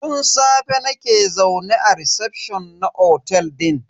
Tun safe nake zaune a recefshon na otel din.